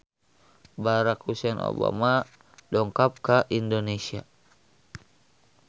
Barack Hussein Obama dongkap ka Indonesia